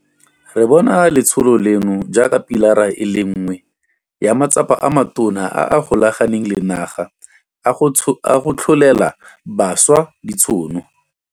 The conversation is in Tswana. Re bona letsholo leno jaaka pilara e le nngwe ya matsapa a matona a a golaganeng le naga a go tlholela bašwa ditšhono.